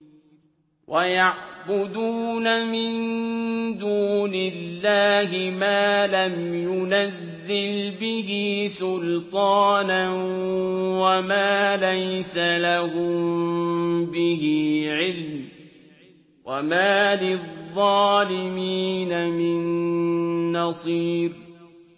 وَيَعْبُدُونَ مِن دُونِ اللَّهِ مَا لَمْ يُنَزِّلْ بِهِ سُلْطَانًا وَمَا لَيْسَ لَهُم بِهِ عِلْمٌ ۗ وَمَا لِلظَّالِمِينَ مِن نَّصِيرٍ